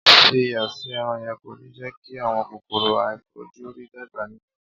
Fi iyọ̀ sí ẹran yẹn, kò ní jẹ́ kí àwọn kòkòrò aàìfojúrí dàgbà nínú rẹ̀.